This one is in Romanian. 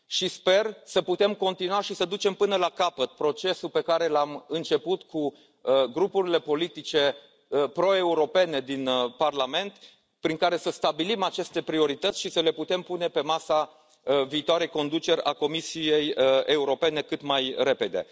Sper să putem continua și să ducem până la capăt procesul pe care l am început cu grupurile politice pro europene din Parlament prin care să stabilim aceste priorități și să le putem pune pe masa viitoarei conduceri a Comisiei Europene cât mai repede.